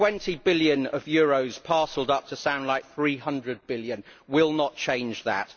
Twenty billion euros parcelled up to sound like 300 billion will not change that.